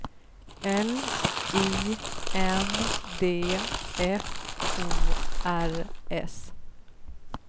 L I N D F O R S